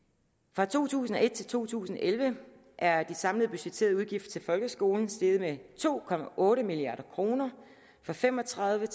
fra to tusind og et til to tusind og elleve er de samlede budgetterede udgifter til folkeskolen steget med to milliard kroner fra fem og tredive